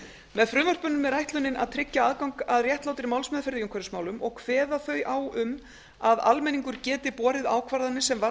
með frumvörpunum er ætlunin að tryggja aðgang að réttlátri málsmeðferð í umhverfismálum og kveða þau á um að almenningur geti borið ákvarðanir sem varða